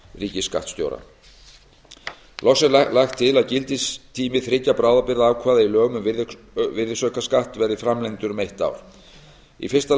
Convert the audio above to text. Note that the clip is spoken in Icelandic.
ríkisskattstjóra loks er lagt til að gildistími þriggja bráðabirgðaákvæða í lögum um virðisaukaskatt verði framlengdur um eitt ár í fyrsta